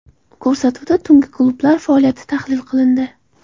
Ko‘rsatuvda tungi klublar faoliyati tahlil qilindi.